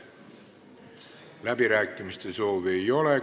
Läbirääkimiste soovi ei ole.